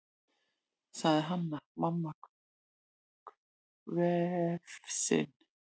sagði Hanna-Mamma hvefsin.